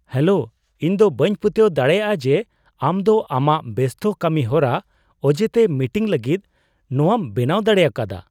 Hello! ᱤᱧ ᱫᱚ ᱵᱟᱹᱧ ᱯᱟᱹᱛᱭᱟᱹᱣ ᱫᱟᱲᱮᱭᱟᱜᱼᱟ ᱡᱮ ᱟᱢ ᱫᱚ ᱟᱢᱟᱜ ᱵᱮᱥᱛᱚ ᱠᱟᱹᱢᱤᱦᱚᱨᱟ ᱚᱡᱮᱛᱮ ᱢᱤᱴᱤᱝ ᱞᱟᱹᱜᱤᱫ ᱱᱚᱣᱟᱢ ᱵᱮᱱᱟᱣ ᱫᱟᱲᱮᱭᱟᱠᱟᱫᱟ !